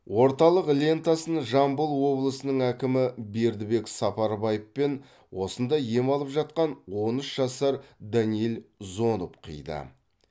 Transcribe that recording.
орталық лентасын жамбыл облысының әкімі бердібек сапарбаев пен осында ем алып жатқан он үш жасар данииль зоноб қиды